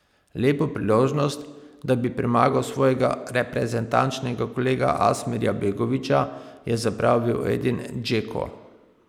Lepo priložnost, da bi premagal svojega reprezentančnega kolega Asmirja Begovića, je zapravil Edin Džeko.